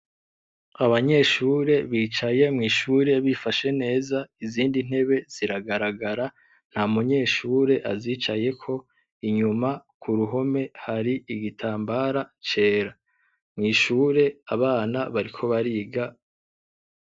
Abanyeshure bicaye mw'ishure bifashe neza izindi ntebe ziragaragara ntamunyeshure azicayeko inyuma kuruhome hari igitambara cera, mw'ishure abana bariko bariga.